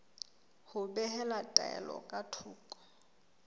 ho behela taelo ka thoko